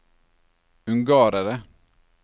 ungarere